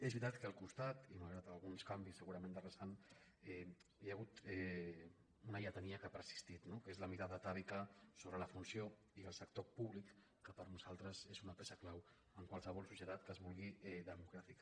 és veritat que al costat i malgrat alguns canvis se·gurament de rasant hi ha hagut una lletania que ha persistit no que és la mirada atàvica sobre la funció i el sector públic que per nosaltres és una peça clau en qualsevol societat que es vulgui democràtica